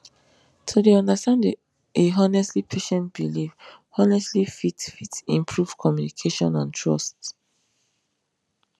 to dey understand a honestly patient belief honestly fit fit improve communication and trust